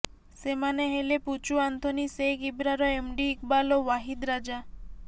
ସେମାନେ ହେଲେ Puchu Anthony Sheikh Ibrar MD Iqbal ଓ ୱାହିଦ ରାଜା